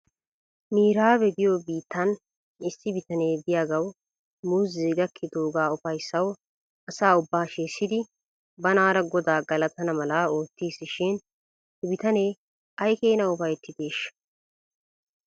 Miraabe giyoo biittan issi bitane de'iyaagaw muuzee gakkidoogaa ufayssaw asa ubbaa shiishshidi banaara godaa galatana mala oottis shin he bitanee ay keenaa ufayttideeshsha?